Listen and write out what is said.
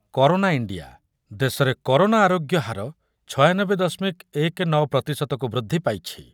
Corona India, ଦେଶରେ corona ଆରୋଗ୍ୟ ହାର ଛୟାନବେ ଦଶମିକ ଏକ ନଅ ପ୍ରତିଶତକୁ ବୃଦ୍ଧି ପାଇଛି ।